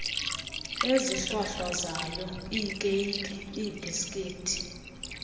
ezihlwahlwazayo iikeyiki iibhisikithi